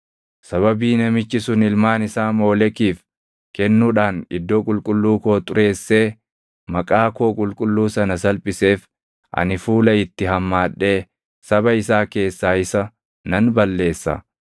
Sababii namichi sun ilmaan isaa Moolekiif kennuudhaan iddoo qulqulluu koo xureessee maqaa koo qulqulluu sana salphiseef, ani fuula itti hammaadhee saba isaa keessaa isa nan balleessa.